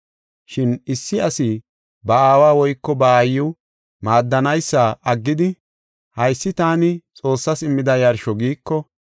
Shin issi asi ba aawa woyko ba aayiw maaddanaysa aggidi, ‘Haysi taani Xoossas immida yarsho’ giiko,